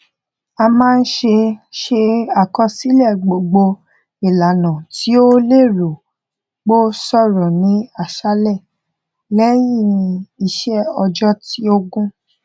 ó máa ṣe ṣe àkọsílẹ gbogbo ìlànà tí ó lérò pé ó ṣòro ní àṣálẹ lẹyín iṣẹ ọjọ tí ó gùn